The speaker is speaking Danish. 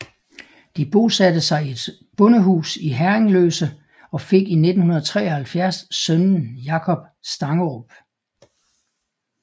De bosatte sig i et bondehus i Herringløse og fik i 1973 sønnen Jacob Stangerup